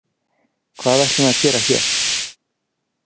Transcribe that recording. Hvað ætlum við að gera hér?